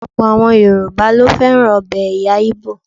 Ọ̀pọ̀ àwọn Yoruba ló fẹ́ràn ọbẹ̀ ẹ̀yà Igbo.